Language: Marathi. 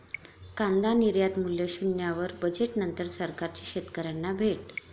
कांदा निर्यातमूल्य शून्यावर, बजेटनंतर सरकारची शेतकऱ्यांना भेट!